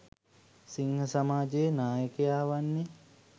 සිංහ සමාජයේ නායකයා වන්නේ